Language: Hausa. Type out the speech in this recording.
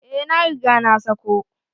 Eh na riga na sa ko.